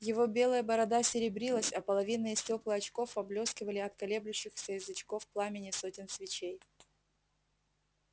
его белая борода серебрилась а половинные стёкла очков поблёскивали от колеблющихся язычков пламени сотен свечей